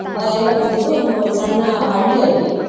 ಅಹ್ ಎಲ್ಲಾ ಹೋದದ್ದು ಒಂದು ಸಣ್ಣ ಹಳ್ಳಿಯಲ್ಲಿ.